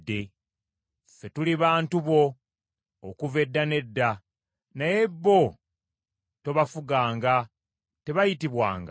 Ffe tuli bantu bo okuva edda n’edda; naye bo tobafuganga, tebayitibwanga linnya lyo.